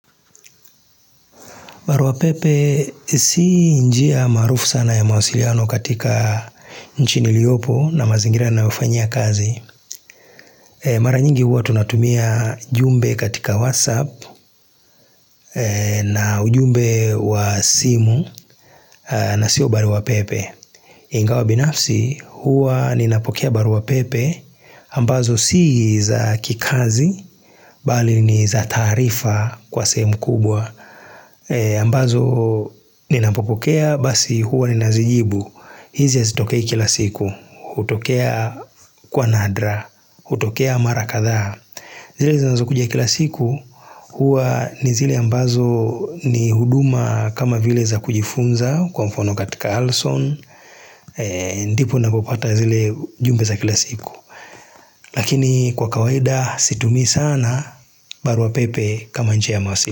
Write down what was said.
Baruapepe si njia maarufu sana ya mawasiliano katika nchi niliopo na mazingira nayofanyia kazi. Mara nyingi huwa tunatumia jumbe katika WhatsApp na ujumbe wa simu na sio baruapepe. Ingawa binafsi huwa ninapokea baruapepe ambazo si za kikazi bali ni za taarifa kwa sehemu kubwa. Ambazo ninapopokea basi huwa ninazijibu hizi hazitokei kila siku hutokea kwa nadra hutokea mara kadhaa zile zinazokuja kila siku Huwa ni zile ambazo ni huduma kama vile za kujifunza Kwa mfano katika Alson ndipo napopata zile jumbe za kila siku Lakini kwa kawaida situmii sana barua pepe kama njia ya masi.